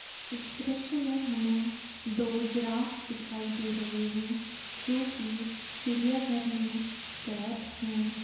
इस दृश्य में हमें दो जिराफ दिखाई दे रहे हैं जो की चिड़िया घर में कैद है।